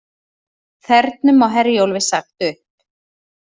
Þernum á Herjólfi sagt upp